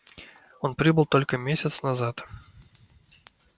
он прибыл только месяц назад